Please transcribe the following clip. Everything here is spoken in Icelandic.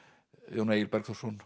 Jón Egil Bergþórsson